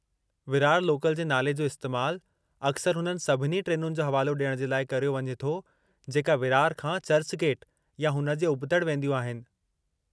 Virar local जे नाले जो इस्तैमालु अक्सर हुननि सभिनी ट्रेनुनि जो हवालो डि॒यणु जे लाइ करियो वञे थो , जेका विरार खां चर्चगेट या हुन जे उबतड़ि वेंदियूं आहिनि।